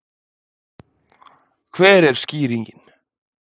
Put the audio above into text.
Hver er skýringin?